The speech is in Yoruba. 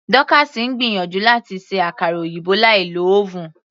Dorcas ń gbìyànjú láti ṣe àkara òyìnbó láì lo oven.